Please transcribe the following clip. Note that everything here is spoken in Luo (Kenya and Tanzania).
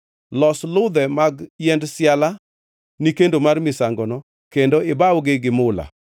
Los ludhe mag yiend siala ni kendo mar misangono kendo ibawgi gi mula.